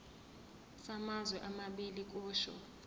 samazwe amabili kusho